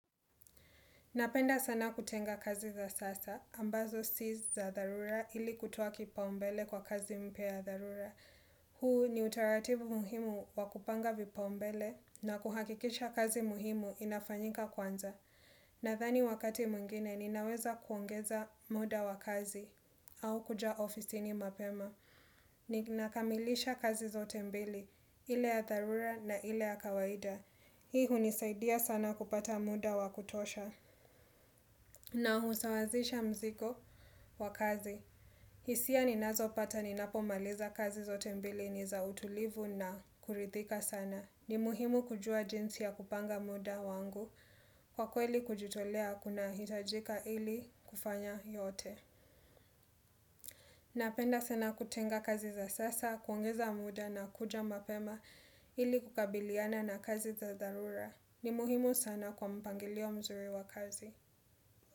Napenda sana kutenga kazi za sasa, ambazo si za dharura ili kutowa kipaumbele kwa kazi mpya ya dharura. Huu ni utaratibu muhimu wakupanga vipaumbele na kuhakikisha kazi muhimu inafanyika kwanza. Nadhani wakati mwngine ninaweza kuongeza muda wa kazi au kuja ofisini mapema. Nina kamilisha kazi zote mbili, ile ya dharura na ile ya kawaida. Hii hunisaidia sana kupata muda wakutosha. Na husawazisha mzigo wa kazi. Hisia ninazo pata ninapo maliza kazi zote mbili ni za utulivu na kurithika sana. Ni muhimu kujua jinsi ya kupanga muda wangu kwa kweli kujitolea kunahitajika ili kufanya yote. Napenda sana kutenga kazi za sasa, kuongeza muda na kuja mapema ili kukabiliana na kazi za dharura. Ni muhimu sana kwa mpangilio mzuri wa kazi.